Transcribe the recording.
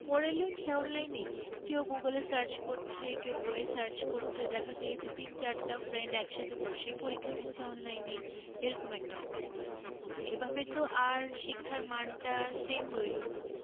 পড়ে লেখে online এ? কেও google এ search করছে, কেও বই এ search করছে, দেখা গিয়েছে তিন চার টা friend একসাথে বসে পরীক্ষা দিচ্ছে online এ এরকম একটা অবস্থা। তো এভাবে তো আর শিক্ষার মান টা same রইল না।